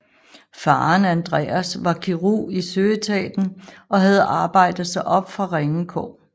Faren Andreas var kirurg i søetaten og havde arbejdet sig op fra ringe kår